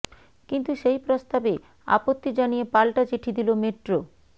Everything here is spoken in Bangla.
কিন্তু সেই প্রস্তাবে আপত্তি জানিয়ে পাল্টা চিঠি দিল মেট্রো